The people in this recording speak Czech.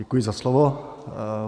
Děkuji za slovo.